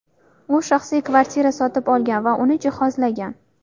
U shaxsiy kvartira sotib olgan va uni jihozlagan.